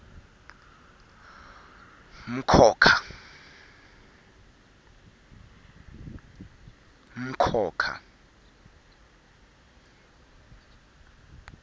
mkhokha